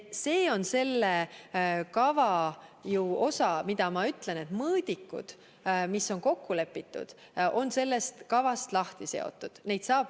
See on ju selle kava osa, et mõõdikud, mis on kokku lepitud, on sellest kavast lahti seotud.